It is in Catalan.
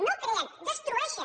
no en creen en destrueixen